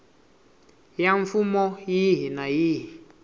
ya mfumo yihi na yihi